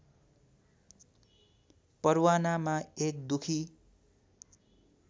परवानामा एक दुखी